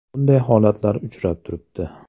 Bunday holatlar uchrab turibdi.